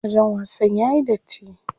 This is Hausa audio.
Wajen wasan yayi datti.